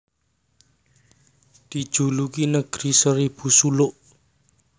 Dijuluki Negeri Seribu Suluk